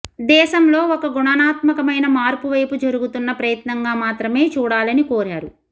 దేశంలో ఒక గుణాత్మకమైన మార్పువైపు జరుగుతున్న ప్రయత్నంగా మాత్రమే చూడాలని కోరారు